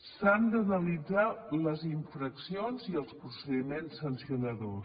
s’han d’analitzar les infraccions i els procediments sancionadors